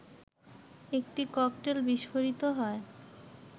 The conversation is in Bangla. একটি ককটেল বিস্ফোরিত হয়